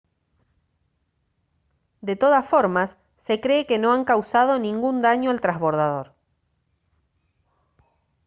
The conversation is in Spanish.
de todas formas se cree que no han causado ningún daño al trasbordador